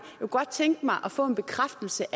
kunne godt tænke mig at få en bekræftelse